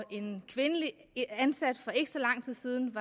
en kvindelig ansat var for ikke så lang tid siden